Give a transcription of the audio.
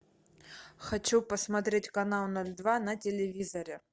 хочу посмотреть канал ноль два на телевизоре